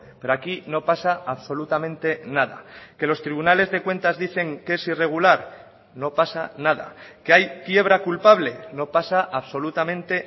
pero aquí no pasa absolutamente nada que los tribunales de cuentas dicen que es irregular no pasa nada que hay quiebra culpable no pasa absolutamente